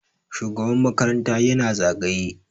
shugaban makaranta yana zagaye